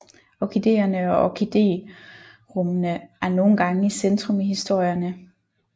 Orkideerne og orkiderummene er nogle gange i centrum i historierne